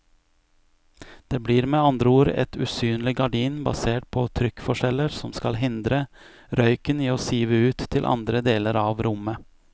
Det blir med andre ord et usynlig gardin basert på trykkforskjeller som skal hindre røyken i å sive ut til andre deler av rommet.